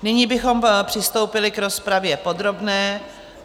Nyní bychom přistoupili k rozpravě podrobné.